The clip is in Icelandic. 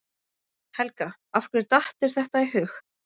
Helga: Af hverju datt þér þetta í hug?